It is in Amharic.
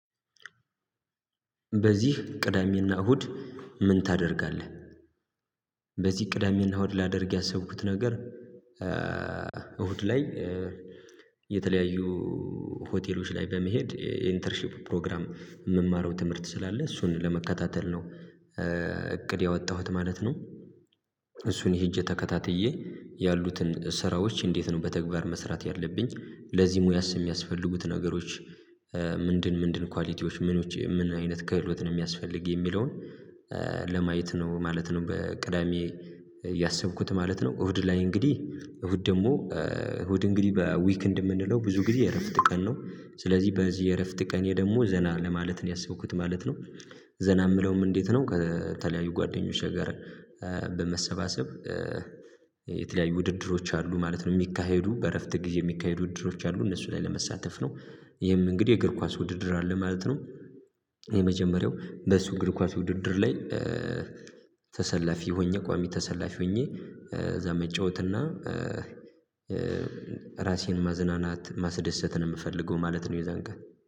በዚህ ቅዳሜና እሁድ ምን ታደርጋለህ? በዚህ ቅዳሜና እሁድ ላደርግ ያሰብኩት ነገር እሁድ ላይ የተለያዩ ሆቴሎች ላይ በመሄድ ኢንተርሺፕ ፕሮግራም የምማረው ትምህርት ስላለ እሱን ለመከታተል ነው እቅዴ ያወጣሁት ማለት ነው እሱን ሄጄ ተከታትዬ ያሉትን ስራዎች እንዴት ነው በተግባር መስራት ያለብኝ ለዚህ ሙያስ የሚያስፈልጉት ነገሮች ምንድን ምንድን ኳሊቲዎች ምን ውጪ ምን አይነት ክህሎት ነው የሚያስፈልግ የሚለውን ለማየት ነው ማለት ነው በቅዳሜ ያሰብኩት ማለት ነው እሁድ ላይ እንግዲህ እሁድ ደግሞ እሁድ እንግዲህ በዊክንድ እንደምንለው ብዙ ጊዜ እረፍት ቀን ነው ስለዚህ በዚህ እረፍት ቀን ደግሞ ዘና ለማለት ነው ያሰብኩት ማለት ነው ዘና የምለውም እንዴት ነው ከተለያዩ ጓደኞች ጋር በመሰባሰብ የተለያዩ ውድድሮች አሉ ማለት ነው የሚካሄዱ በእረፍት ግዜ የሚካሄዱ ውድድሮች አሉ እነሱ ላይ ለመሳተፍ ነው ይህም እንግዲህ የእግር ኳስ ውድድር አለ ማለት ነው የመጀመሪያው በሱ እግር ኳስ ውድድር ላይ ተሰላፊ ሆኜ ቋሚ ተሰላፊ ሆኜ እዛ መጫወትና ራሴን ማዝናናት ማስደሰትን የምፈልገው ማለት ነው የዛን ቀን